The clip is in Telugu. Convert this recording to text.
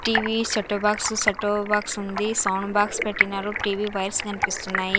TV setter box setter box ఉంది సౌండ్ బాక్స్ పెట్టినారు టీ_వీ వైర్స్ కనిపిస్తున్నాయి.